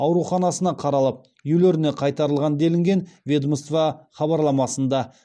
ауруханасына қаралып үйлеріне қайтарылған делінген ведомство хабарламасында